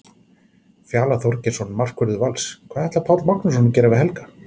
Fjalar Þorgeirsson, markvörður Vals: Hvað ætlar Páll Magnússon að gera við Helga?